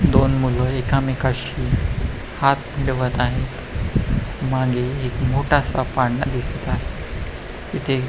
दोन मुलं एकामेकाशी हात मिळवत आहे मागे एक मोठसा पाळणा दिसत आहे तिथे--